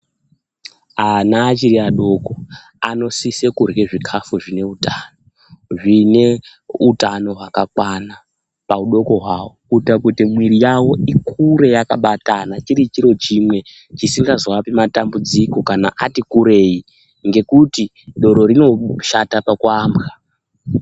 Ana achiri adoko anosise kurye zvikafu zvine utano zvine utano hwakakwana paudoko hwawo kuita kuti mwiri yawo ikure yakabatana chiri chiro chimwe chisingaazoapi matambudziko kana ati kurwi ngekuti doro rinoshata pakuambwa.